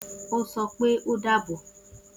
O sopé o dàbọ̀